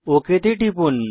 okay তে টিপুন